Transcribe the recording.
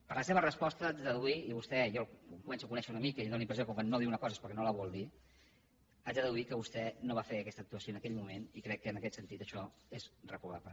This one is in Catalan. de la seva resposta haig de deduir i a vostè jo el començo a conèixer una mica i tinc la impressió que quan no diu una cosa és perquè no la vol dir que vostè no va fer aquella actuació en aquell moment i crec que en aquest sentit això és reprovable